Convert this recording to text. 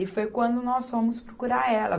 E foi quando nós fomos procurar ela.